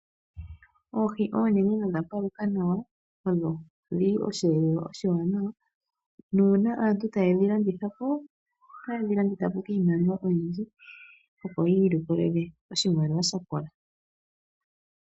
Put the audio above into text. Oohi onene nodha paluka nawa ondhili oshi elelwa oshi waanawa, nuuna aantu taye ndhi landithapo ,otaye ndhi landithapo kiimaliwa oyindji opo yi ilikolele oshimaliwa shakola.